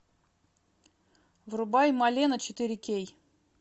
врубай малена четыре кей